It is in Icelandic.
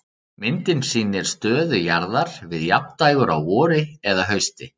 Myndin sýnir stöðu jarðar við jafndægur á vori eða hausti.